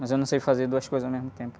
Mas eu não sei fazer duas coisas ao mesmo tempo.